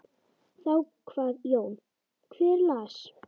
Þá kvað Jón: Hver las?